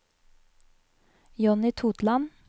Jonny Totland